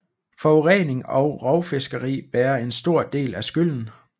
Forurening og rovfiskeri bærer en stor del af skylden